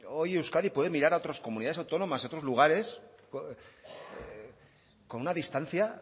hoy euskadi puede mirar a otras comunidades autónomas a otros lugares con una distancia